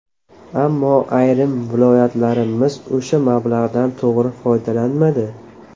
Ammo ayrim viloyatlarimiz o‘sha mablag‘dan to‘g‘ri foydalanmadi.